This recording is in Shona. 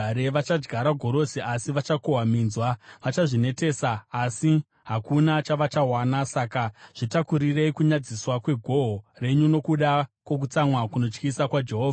Vachadyara gorosi asi vachakohwa minzwa; vachazvinetesa asi hakuna chavachawana. Saka zvitakurirei kunyadziswa kwegohwo renyu, nokuda kwokutsamwa kunotyisa kwaJehovha.”